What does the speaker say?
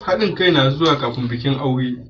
Haɗin kai yana zuwa kafin bikin aure.